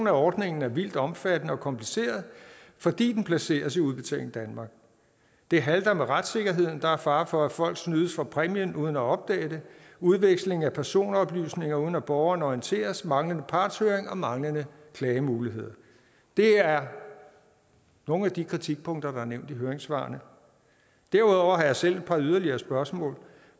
af ordningen er vildt omfattende og kompliceret fordi den placeres i udbetaling danmark det halter med retssikkerheden der er fare for at folk snydes for præmien uden at opdage det udveksling af personoplysninger uden at borgerne orienteres manglende partshøring og manglende klagemuligheder det er nogle af de kritikpunkter der er nævnt i høringssvarene derudover har jeg selv et par yderligere spørgsmål